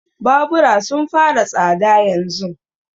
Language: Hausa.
Babura sun fara tsada yanzun.